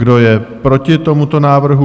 Kdo je proti tomuto návrhu?